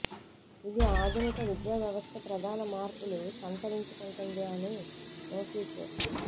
ఇది ఆధునిక విద్యా వ్యవస్థ ప్రధాన మార్పులు సంతరించుకుంటుంది అని నో సీక్రెట్